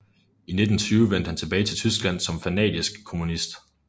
I 1920 vendte han tilbage til Tyskland som fanatisk kommunist